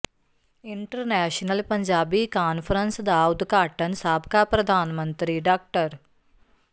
international Punjabi conference ਦਾ ਉਦਘਾਟਨ ਸਾਬਕਾ ਪ੍ਰਧਾਨ ਮੰਤਰੀ ਡਾ